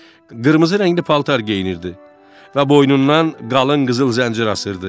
Qırmızı rəngli paltar geyinirdi və boynundan qalın qızıl zəncir asırdı.